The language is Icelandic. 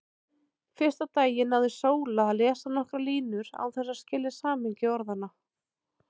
Fyrsta daginn náði Sóla að lesa nokkrar línur án þess að skilja samhengi orðanna.